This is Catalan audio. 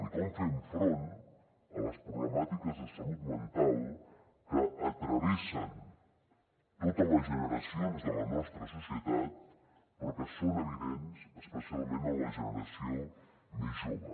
i com fem front a les problemàtiques de salut mental que travessen totes les generacions de la nostra societat però que són evidents especialment en la generació més jove